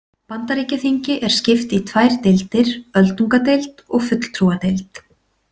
Bandaríkjaþingi er skipt í tvær deildir, öldungadeild og fulltrúadeild.